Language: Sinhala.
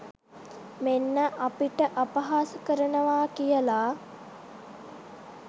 මෙන්න අපිට අපහාස කරනවා කියලා.